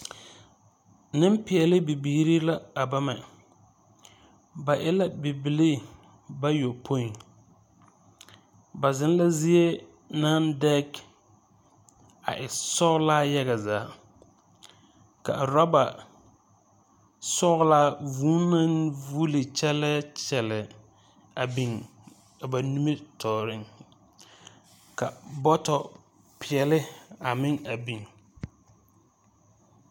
Nempeɛle bibiiri la a bamɛ. Ba e la Bibillii bayopoi. Ba zeŋ la zie naŋ dɛge a e sɔglaa yaga zaa. Ka a rɔba sɔglaa vūū naŋ vuuli kyɛlɛɛ kyɛlɛɛ a biŋ a ba nimitɔɔreŋ. Ka bɔtɔpeɛle a meŋ a biŋ.